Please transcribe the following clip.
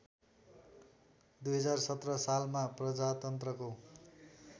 २०१७ सालमा प्रजातन्त्रको